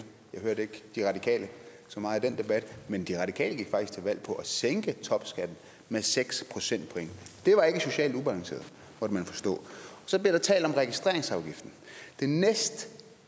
jeg hørte ikke de radikale så meget i den debat men de radikale gik faktisk til valg på at sænke topskatten med seks procentpoint det var ikke socialt ubalanceret måtte man forstå så bliver der talt om registreringsafgiften